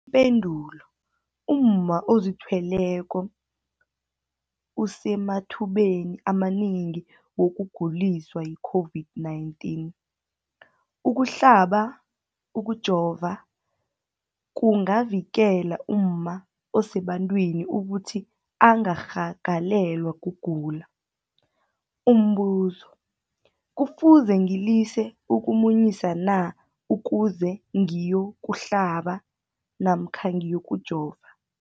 Ipendulo, umma ozithweleko usemathubeni amanengi wokuguliswa yi-COVID-19. Ukuhlaba, ukujova kungavikela umma osebantwini ukuthi angarhagalelwa kugula. Umbuzo, kufuze ngilise ukumunyisa na ukuze ngiyokuhlaba namkha ngiyokujova?